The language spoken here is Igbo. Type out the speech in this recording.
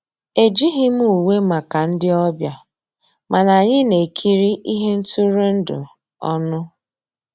Ejíghị m ùwé màkà ndị́ ọ̀bịá, mànà ànyị́ ná-èkírí íhé ntụ́rụ́èndụ́ ọnụ́.